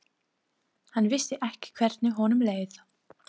Hann vissi ekki hvernig honum leið.